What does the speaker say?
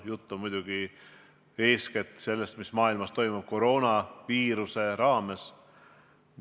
Jutt on muidugi eeskätt sellest, mis toimub maailmas koroonaviiruse taustal.